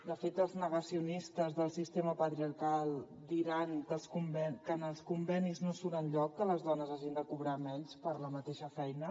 de fet els negacionistes del sistema patriarcal diran que en els convenis no surt enlloc que les dones hagin de cobrar menys per la mateixa feina